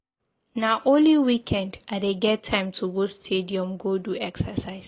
Na only weekend I dey get time to go stadium go do exercise.